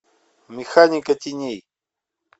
механика теней